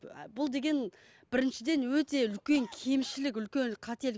бұл деген біріншіден өте үлкен кемшілік үлкен қателік